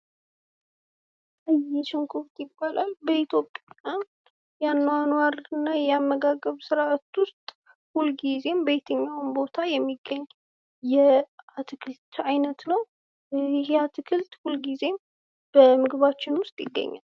ይሄ ሽንኩርት ይባላል ።በኢትዮጵያ የአኗኗር እና የአመጋገብ ስርዓት ውስጥ ሁልጊዜም በየትኛውም ቦታ የሚገኝ የአትክልት ዓይነት ነው ።ይሄ አትክልት ሁልጊዜም በምግባችን ውስጥ ይገኛል።